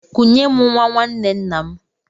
Kunye m nwa nwanne nna m!